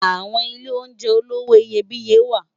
Awòn ilé óunjè ólowò iyébìyé wá